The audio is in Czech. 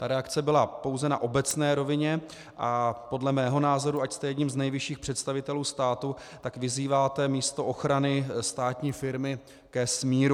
Ta reakce byla pouze na obecné rovině a podle mého názoru, ač jste jedním z nejvyšších představitelů státu, tak vyzýváte místo ochrany státní firmy ke smíru.